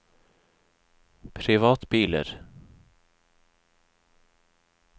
privatbiler